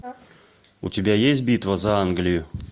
у тебя есть битва за англию